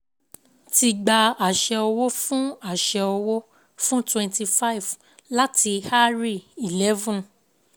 Ti gba àṣẹ owó fún àṣẹ owó fún twenty five láti Hari eleven